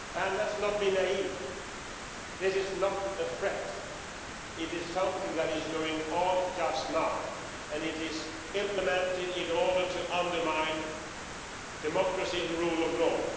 Let's not be naive, this is not a threat, it is something that is going on right now and it is implemented in order to undermine democracy and the rule of law.